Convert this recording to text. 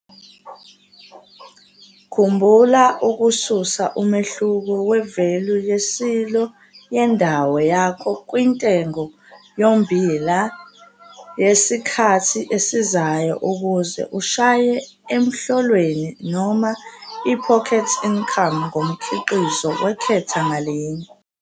Khumbula ukususa umehluko wevelu ye-silo yendawo yakho kwintengo yommbila yesikhathi esizayo ukuze ushaye 'emhlolweni' noma i-pocket income ngomkhiqizo wehektha ngalinye.